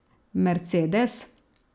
Mercedes?